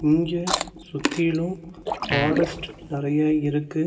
இங்க சுத்திலோ ஃபாரஸ்ட் நறைய இருக்கு.